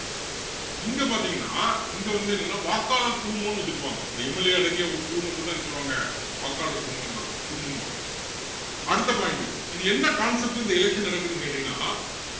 இங்க பாத்திங்கன்னா இங்க வந்து என்னன்னா வாக்காளர் குழுமம்ன்னு வச்சிருப்பாங்க இந்த MLA அடங்கிய ஒரு குழுமத்தை தான் என்ன சொல்லுவாங்க வாக்காளர் குழுமம்~ குழுமம்பாங்க அடுத்த point இது என்ன concept ல இந்த election நடக்குதுன்னு கேட்டீங்கன்னா